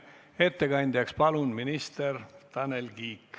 Ettekandjaks palun minister Tanel Kiige.